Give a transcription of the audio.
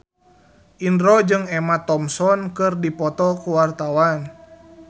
Indro jeung Emma Thompson keur dipoto ku wartawan